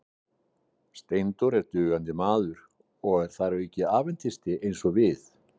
Steindór er dugandi maður og þar að auki aðventisti eins og við.